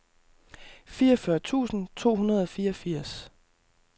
fireogfyrre tusind to hundrede og fireogfirs